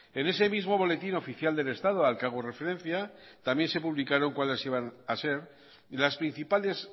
en ese mismo boletín oficial del estado al que hago referencia también se publicaron cuáles iba a ser las principales